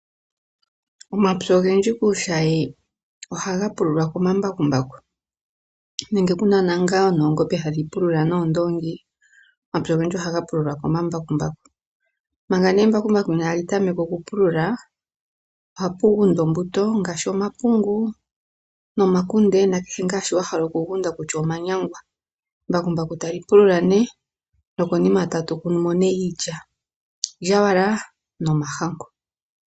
Omapya ogendji kuushayi ohaga pululwa komambakumbaku nenge kuna ngaa oongombe hadhi pulula noondoongi . Omapya ogendji ohaga pululwa komambakumbaku. Manga nee embakumbaku inali tameka oku pulula ohapu gundwa ombuto ngaashi omapungu ,nomakunde nakehe ngaa shoka omuntu ohala oku gunda kutya omanyangwa lyo embakumbaku tali pulula nee nokonima tamu kunwa nee iilya ,iilyawala nomahangu.